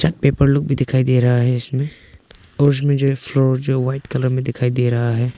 Paper लोग भी दिखाई दे रहा है इसमें और उसमें जो है फ्लोर जो वाइट कलर में दिखाई दे रहा है।